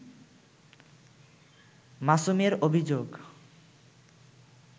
মাসুমের অভিযোগ